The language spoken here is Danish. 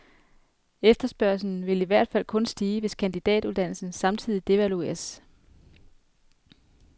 Efterspørgslen vil i hvert fald kun stige, hvis kandidatuddannelsen samtidig devalueres.